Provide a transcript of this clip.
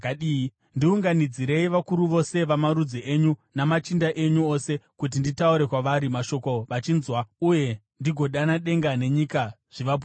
Ndiunganidzirei vakuru vose vamarudzi enyu namachinda enyu ose, kuti nditaure kwavari mashoko vachinzwa uye ndigodana denga nenyika zvivapupurire.